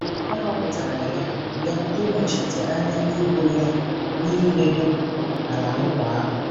A họpụtara ya ya ịnọchite anya ebo ya n'iledo Ala Nkwa ahụ.